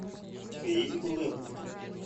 у тебя есть голая бухта